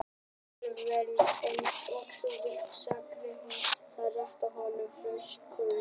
Alveg eins og þú vilt sagði hún og rétti honum flöskuna.